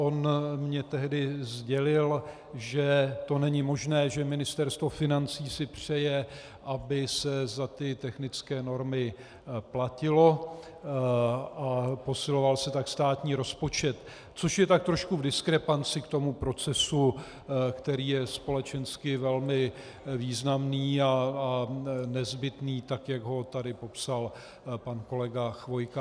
On mně tehdy sdělil, že to není možné, že Ministerstvo financí si přeje, aby se za ty technické normy platilo a posiloval se tak státní rozpočet, což je tak trošku v diskrepanci k tomu procesu, který je společensky velmi významný a nezbytný tak, jak ho tady popsal pan kolega Chvojka.